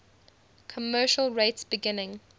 commercial rates beginning